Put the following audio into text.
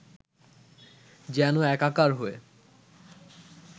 যেন একাকার হয়ে